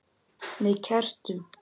Með kertum?